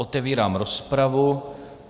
Otevírám rozpravu.